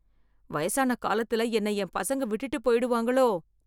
வயசான காலத்துல என்னை என் பசங்க விட்டுட்டு போய்டுவாங்களோ